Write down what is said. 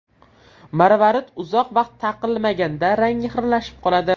Marvarid uzoq vaqt taqilmaganda rangi xiralashib qoladi.